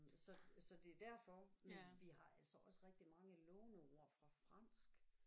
Så så det er derfor men vi har altså også rigtig mange låneord fra fransk